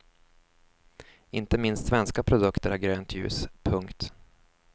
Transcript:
Inte minst svenska produkter har grönt ljus. punkt